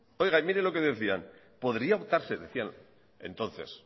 mire lo que decían podría optarse decían entonces